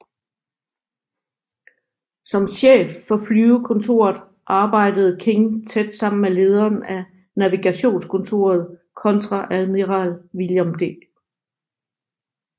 Som chef for flyvekontoret arbejdede King tæt sammen med lederen af navigationskontoret kontreadmiral William D